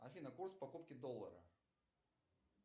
афина курс покупки доллара